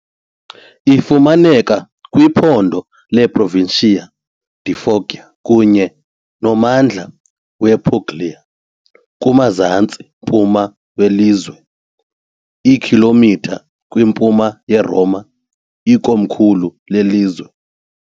Ifumaneka kwiphondo leProvincia di Foggia kunye nommandla wePuglia, kumazantsi-mpuma welizwe, iikhilomitha kwimpuma yeRoma, ikomkhulu lelizwe.